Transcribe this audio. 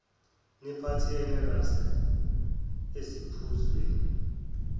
nemiqhathane rusks eziphuzweni